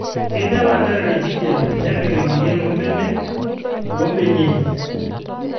kinya ilanterera enkijape nepik emoyian embenek oo mbenia enye